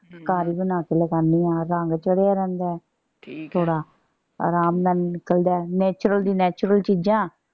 ਹਮ ਘਰ ਹੀ ਬਣਾ ਕੇ ਲਗਾਂਨੀ ਆ। ਰੰਗ ਚੜ੍ਹਿਆ ਰਹਿੰਦਾ ਹੈ। ਠੀਕ ਐ ਥੋੜਾ ਆਰਾਮ ਨਾਲ ਨਿਕਲਦਾ ਹੈ natural ਦੀ natural ਚੀਜਾਂ।